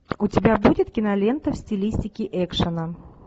у тебя будет кинолента в стилистике экшена